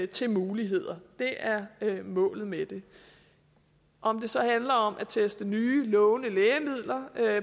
til muligheder det er målet med det om det så handler om at teste nye lovende lægemidler